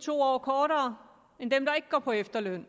to år kortere end dem der ikke går på efterløn